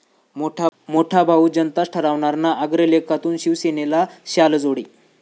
मोठा भाऊ जनताच ठरवणार ना?' अग्रलेखातून शिवसेनेला शालजोडे